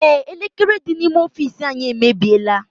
Ee, elekere dị n'ime ọfiisi anyị emebiela.